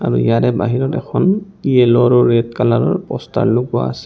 আৰু ইয়াৰে বাহিৰত এখন য়েল্লো আৰু ৰেড কালাৰৰ প'ষ্টাৰ লগোৱা আছে।